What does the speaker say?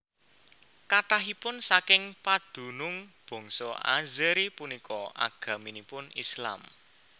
Kathahipun saking padunung bangsa Azeri punika agaminipun Islam